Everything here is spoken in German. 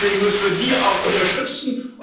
Deswegen müssen wir sie auch unterstützen.